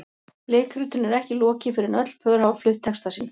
Leikritinu er ekki lokið fyrr en öll pör hafa flutt texta sína.